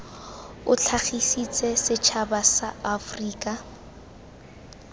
o tlhagisetsa setšhaba sa aforika